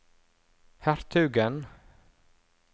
hertugen